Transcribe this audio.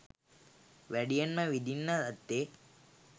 වැඩියෙන්ම විඳින්න ඇත්තේ